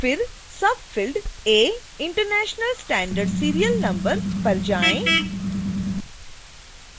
फिर subfield a international standard serial number पर जाएँ